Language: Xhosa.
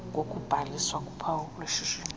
kokubhaliswa kophawu lweshishini